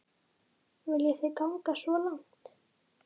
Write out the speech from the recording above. Viljið þið ganga svo langt?